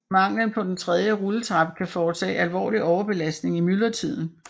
Manglen på en tredje rulletrappe kan forårsage alvorlig overbelastning i myldretiden